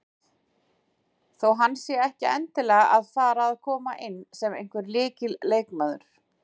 Þó hann sé ekki endilega að fara að koma inn sem einhver lykilleikmaður.